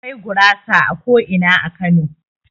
Akwai gurasa a ko'ina a Kano.